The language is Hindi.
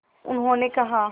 उन्होंने कहा